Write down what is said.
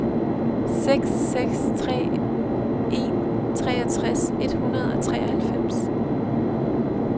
seks seks tre en treogtres et hundrede og treoghalvfems